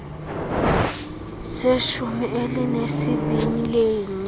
seshumi elinesibini leenyanga